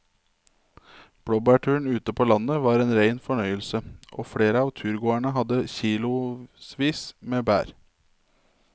Blåbærturen ute på landet var en rein fornøyelse og flere av turgåerene hadde kilosvis med bær.